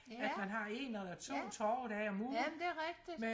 ja ja ja men det er rigtigt